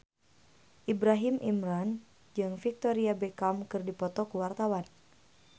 Ibrahim Imran jeung Victoria Beckham keur dipoto ku wartawan